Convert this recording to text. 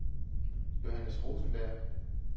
Johannes Rosenberg